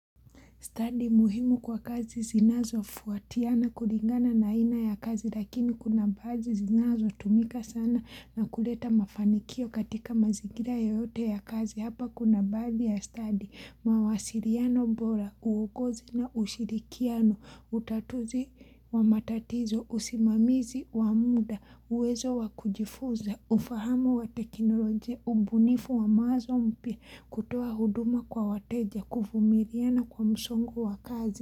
Study muhimu kwa kazi zinazo fuatiana kulingana na aina ya kazi lakini kuna baadhi zinazo tumika sana na kuleta mafanikio katika mazingira yoyote ya kazi. Hapa kuna baadhi ya study, mawasiliano bora, uongozi na ushirikiano, utatuzi wa matatizo, usimamizi wa muda, uwezo wa kujifuza, ufahama wa teknolojia, ubunifu wa mawazo mpya, kutoa huduma kwa wateja, kuvumiliana kwa msongu wa kazi.